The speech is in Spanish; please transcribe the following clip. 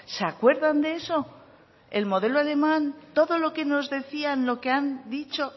se acuerdan de eso el modelo alemán todo lo que nos decían lo que han dicho